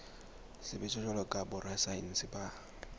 sebetsa jwalo ka borasaense ba